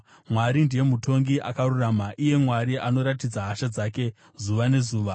Mwari ndiye mutongi akarurama, iye Mwari anoratidza hasha dzake zuva nezuva.